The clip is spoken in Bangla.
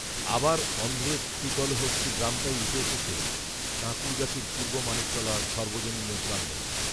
আবার, অন্ধ্রের শ্রীকলহস্তি গ্রামটাই উঠে এসেছে কাঁকূড়গাছির পূর্ব মানিকতলা সর্বজনীনের প্রাঙ্গণে